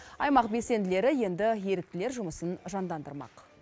аймақ белсенділері енді еріктілер жұмысын жандандырмақ